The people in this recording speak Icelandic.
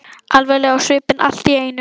Alvarleg á svipinn allt í einu.